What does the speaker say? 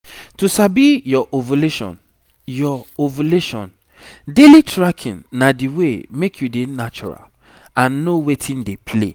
to sabi your ovulation your ovulation daily tracking na the way make you dey natural and know wetin dey play.